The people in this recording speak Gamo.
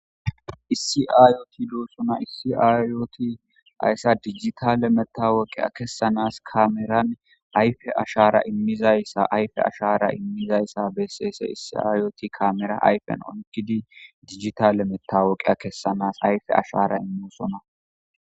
Issi ayot dosona, issi ayot haysa dijitale metawoqiya kesanas kameran ayfe ashara imizaysa ayfe ashara imizaysa beses , issi auoti kamera ayfen oykidinne dijitale matowoqiya kesanasi ayfe ashara imosona.